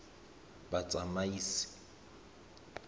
batsamaisi